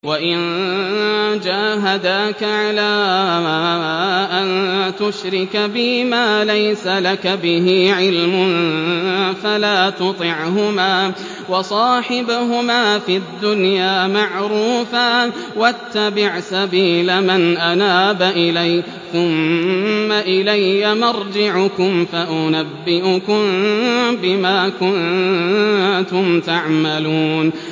وَإِن جَاهَدَاكَ عَلَىٰ أَن تُشْرِكَ بِي مَا لَيْسَ لَكَ بِهِ عِلْمٌ فَلَا تُطِعْهُمَا ۖ وَصَاحِبْهُمَا فِي الدُّنْيَا مَعْرُوفًا ۖ وَاتَّبِعْ سَبِيلَ مَنْ أَنَابَ إِلَيَّ ۚ ثُمَّ إِلَيَّ مَرْجِعُكُمْ فَأُنَبِّئُكُم بِمَا كُنتُمْ تَعْمَلُونَ